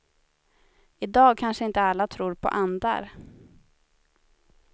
I dag kanske inte alla tror på andar.